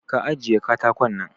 Ka ajiye katakon nan!